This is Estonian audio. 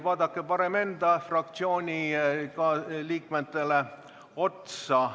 Vaadake parem enda fraktsiooni liikmetele otsa.